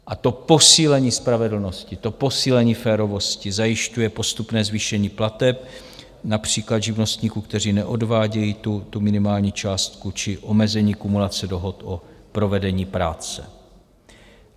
A to posílení spravedlnosti, to posílení férovosti zajišťuje postupné zvýšení plateb například živnostníků, kteří neodvádějí tu minimální částku, či omezení kumulace dohod o provedení práce.